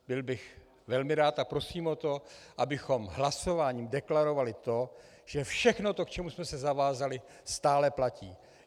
Byl bych velmi rád a prosím o to, abychom hlasováním deklarovali to, že všechno to, k čemu jsme se zavázali, stále platí.